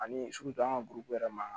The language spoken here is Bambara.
Ani an ka buru yɛrɛ ma